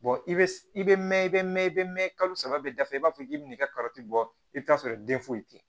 i bɛ i bɛ mɛn i bɛ mɛ i bɛ mɛn kalo saba bɛ dafa i b'a fɔ k'i bɛ n'i ka kɔrɔti bɔ i bɛ t'a sɔrɔ den foyi tɛ yen